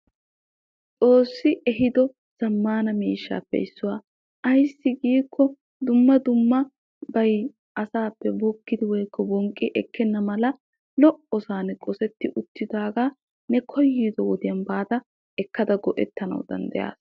xoossi ehiido zamaana miishshaappe issuwa. ayssi giikko dumma dummabay asaappe bonqqi ekkenna mala lo'osan qosseti uttidaagaa ne koyiddo wodiyan baada ekkada go'etana danddayaasa.